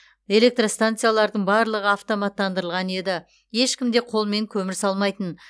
электростанциялардың барлығы автоматтандырылған еді ешкім де қолмен көмір салмайтын